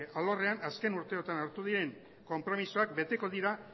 alorrean azken urte hauetan hartu diren konpromisoak beteko dira